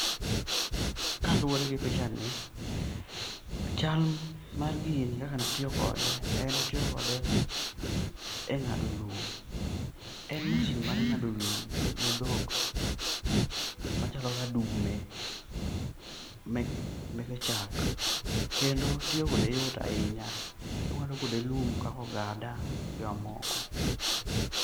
Kaluwore gi pichani, chal mar gini kaka natiyo kode, en natiyo kode e ng'ado lum. En mashin mar ng'ado lum ne dhok machalo kaka dume meke chak, kendo tiyo kode yot ahinya. Ing'ado kode lum kakogada gi mamoko.